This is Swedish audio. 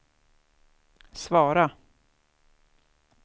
svara